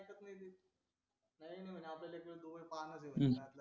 असलं कुणी पाण्यात ये